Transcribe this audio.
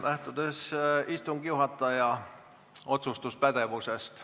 Lähtutakse istungi juhataja otsustuspädevusest.